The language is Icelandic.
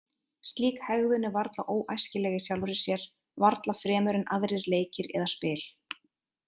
Slík hegðun er varla óæskileg í sjálfri sér, varla fremur en aðrir leikir eða spil.